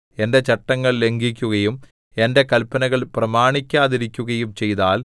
എന്റെ ചട്ടങ്ങൾ ലംഘിക്കുകയും എന്റെ കല്പനകൾ പ്രമാണിക്കാതിരിക്കുകയും ചെയ്താൽ